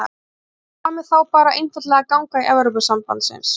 Höskuldur: Hvað með þá bara einfaldlega að ganga í Evrópusambandsins?